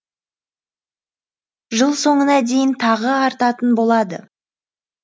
жыл соңына дейін тағы артатын болады